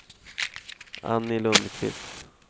Annie Lundquist